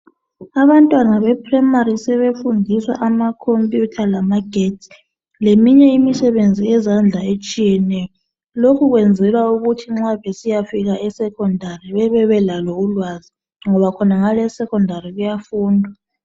Abantwana be primary, sebefundiswa ama computer lamagetsi, leminye imisebenzi yezandla etshiyeneyo, lokhu kwenzelwa ukuthi nxa besiyafika e secondary babe belalo ulwazi, ngoba khonangale e secondary kuyafundwa.